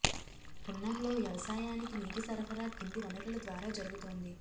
పున్నంలో వ్యవసాయానికి నీటి సరఫరా కింది వనరుల ద్వారా జరుగుతోంది